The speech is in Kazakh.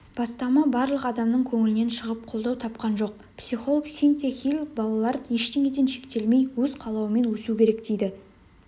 бастама барлық адамның көңілінен шығып қолдау тапқан жоқ психолог синтия хиль балалар ештеңеден шектелмей өз қалауымен өсу керек дейді